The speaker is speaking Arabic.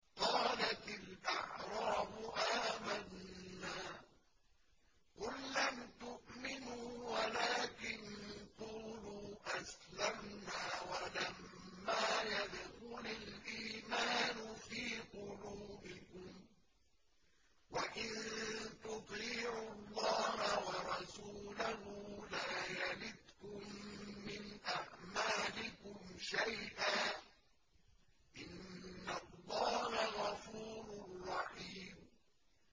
۞ قَالَتِ الْأَعْرَابُ آمَنَّا ۖ قُل لَّمْ تُؤْمِنُوا وَلَٰكِن قُولُوا أَسْلَمْنَا وَلَمَّا يَدْخُلِ الْإِيمَانُ فِي قُلُوبِكُمْ ۖ وَإِن تُطِيعُوا اللَّهَ وَرَسُولَهُ لَا يَلِتْكُم مِّنْ أَعْمَالِكُمْ شَيْئًا ۚ إِنَّ اللَّهَ غَفُورٌ رَّحِيمٌ